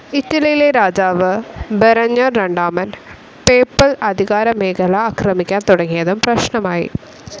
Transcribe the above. ഇറ്റലിയിലെ രാജാവ് ബെരഞ്ഞർ രണ്ടാമൻ, പേപ്പൽ അധികാരമേഖല ആക്രമിക്കാൻ തുടങ്ങിയതും പ്രശ്നമായി.